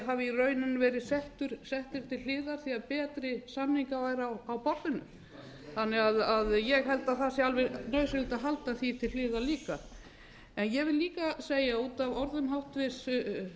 hafi í rauninni verið settir til hliðar því betri samningar væru á borðinu þannig að ég held að það sé alveg nauðsynlegt að halda því til hliðar líka ég vil líka segja út af orðum háttvirts